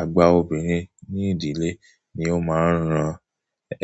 Àgbà obìnrin ní ìdílé ni ó máa ń ran